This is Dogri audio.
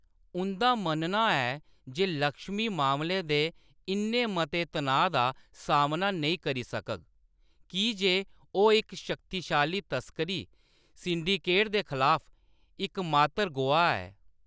उंʼदा मन्नना ​​​​ऐ जे लक्ष्मी मामले दे इन्ने मते तनाऽ दा सामना नेईं करी सकग, की जे ओह्‌‌ इक शक्तिशाली तस्करी सिंडिकेट दे खलाफ इकमात्तर गोआह् ऐ।